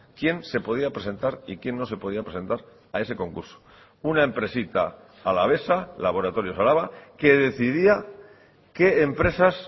quién se podía presentar y quién no se podía presentar a ese concurso una empresita alavesa laboratorios araba que decidía qué empresas